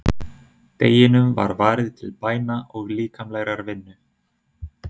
Deginum var varið til bæna og líkamlegrar vinnu.